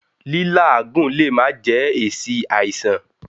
Lí́làágùn lè má jẹ́ èsì àìsàn.